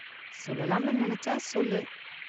சொல்லலாம்னு நினைச்சா சொல்லு.